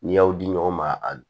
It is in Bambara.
N'i y'aw di ɲɔgɔn ma